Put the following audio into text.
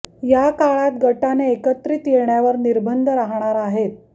या काळात गटाने एकत्रित येण्यावर निर्बंध राहणार आहेत